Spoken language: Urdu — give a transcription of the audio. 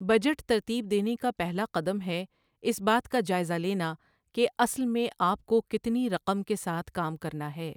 بجٹ ترتیب دینے کا پہلا قدم ہے اس بات کا جائزہ لینا کہ اصل میں آپ کو کتنی رقم کے ساتھ کام کرنا ہے۔